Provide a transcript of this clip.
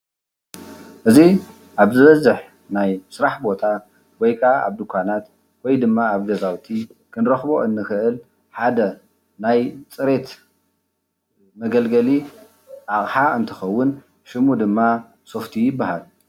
እዚ ኣብ ዝበዝሕ ናይ ስራሕ ቦታ ወይ ከአ ድንኳናት ወይ ድማ አብ ገዛውቲ ክንረክቦ እንክእል ሓደ ናይ ፅሬት መገልገሊ አቅሓ እንትኸውን፤ ሽሙ ድማ ሶፍቲ ይበሃል፡፡